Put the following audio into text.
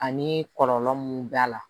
Ani kɔlɔlɔ mun b'a la